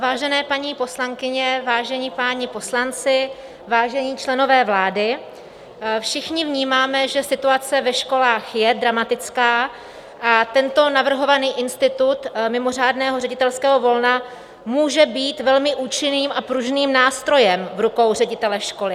Vážené paní poslankyně, vážení páni poslanci, vážení členové vlády, všichni vnímáme, že situace ve školách je dramatická, a tento navrhovaný institut mimořádného ředitelského volna může být velmi účinným a pružným nástrojem v rukou ředitele školy.